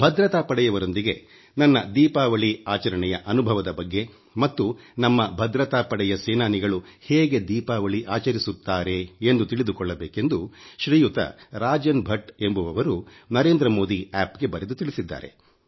ಭದ್ರತಾ ಪಡೆಯವರೆಂದಿಗೆ ನನ್ನ ದೀಪವಳಿ ಆಚರಣೆಯ ಅನುಭವದ ಬಗ್ಗೆ ಮತ್ತು ನಮ್ಮ ಭದ್ರತಾ ಪಡೆಯ ಸೇನಾನಿಗಳು ಹೇಗೆ ದೀಪಾವಳಿ ಆಚರಿಸುತ್ತಾರೆ ಎಂದು ತಿಳಿದುಕೊಳ್ಳಬೇಕೆಂದು ಶ್ರೀಯುತ ರಾಜನ್ ಭಟ್ ಎಂಬುವರು ನರೇಂದ್ರ ಆಪ್ ಗೆ ಬರೆದು ತಿಳಿಸಿದ್ದಾರೆ